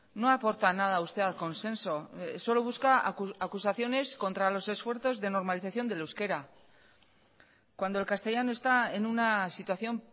no aporta nada usted al consenso solo busca acusaciones contra los esfuerzos de normalización del euskera cuando el castellano está en una situación